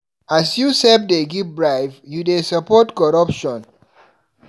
As you sef dey give bribe, you dey support corruption.